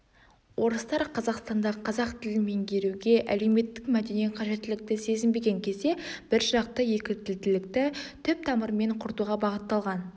орыстар қазақстанда қазақ тілін меңгеруге әлеуметтік мәдени қажеттілікті сезінбеген кезде біржақты екітілділікті түп тамырымен құртуға бағытталған